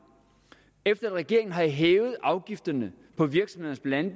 regeringen har hævet afgifterne på virksomhederne